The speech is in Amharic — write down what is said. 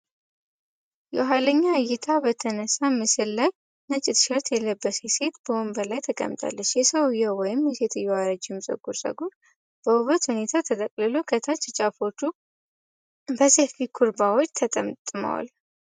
የኋለኛ እይታ በተነሳ ምስል ላይ፣ ነጭ ቲ-ሸርት የለበሰች ሴት በወንበር ላይ ተቀምጣለች። የሰውየው ወይም የሴትየዋ ረጅም ጥቁር ጸጉር በውብ ሁኔታ ተቀጥሎ ከታች ጫፎቹ በሰፊ ኩርባዎች ተጠምጥመዋል።